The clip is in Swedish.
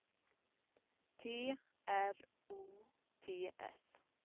T R O T S